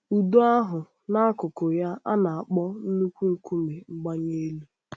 Ụdọ ahụ, n’akụkụ ya, na-akpọ nnukwu nkume mgbanye elu.